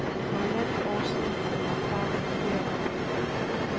For halvandet år siden blev han far for fjerde gang.